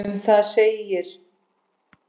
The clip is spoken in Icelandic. Um það segir